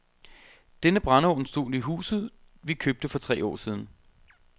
Denne brændeovn stod i huset, vi købte for tre år siden.